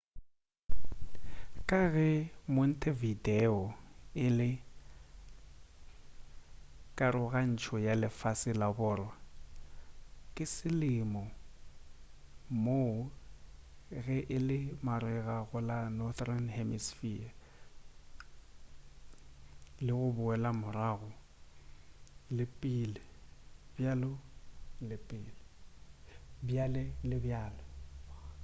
ka ge montevideo e le karogantšho ya lefase ya borwa ke selemo moo ge e le marega go la northern hemispher le go boela morago le pele bjale le bjale